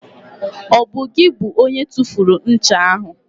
Ọ bụ gị bụ onye tụfuru ncha ahụ?